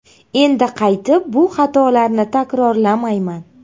Endi qaytib bu xatolarni takrorlamayman.